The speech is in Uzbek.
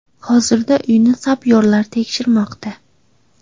Hozirda uyni sapyorlar tekshirmoqda.